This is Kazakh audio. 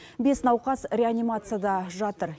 бес науқас реанимацияда жатыр